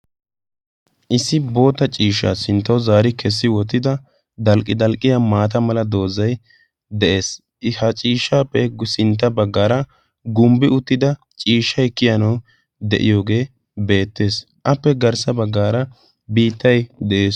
issi boota ciishshaa sinttau zaari kessi wottida dalqqi dalqqiya maata mala doozzay de'ees. ha ciishshaappe sintta baggaara gumbbi uttida ciishshai kiyanau de'iyoogee beettees appe garssa baggaara biittai de'ees.